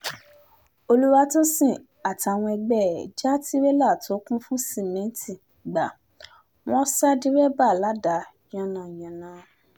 olùwàtòsìn àtàwọn ẹgbẹ́ ẹ̀ já tirẹ́là tó kún fún sìmẹ́ǹtì gbà wọ́n sá dẹ́rẹ́bà ládàá yánnayànna